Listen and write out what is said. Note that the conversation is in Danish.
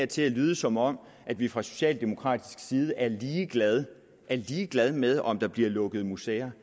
til at lyde som om vi fra socialdemokratisk side er ligeglade er ligeglade med om der bliver lukket museer